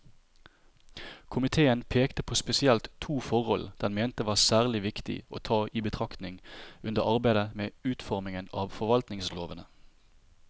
Komiteen pekte på spesielt to forhold den mente var særlig viktig å ta i betraktning under arbeidet med utformingen av forvaltningslovene.